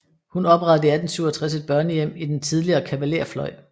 Hun oprettede i 1867 et børnehjem i den tidligere kavalerfløj